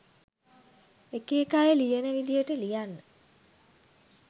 එක එක අය ලියන විදියට ලියන්න